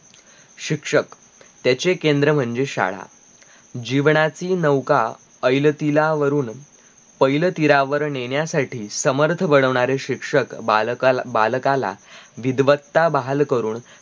शिक्षक त्याचे केंद्र म्हणजे शाळा जीवनाची नौका ऐलतिरावरून पैलतीरावर नेण्यासाठी समर्थ बनवणारे शिक्षक बालकाला विध्वत्ता बहालकरून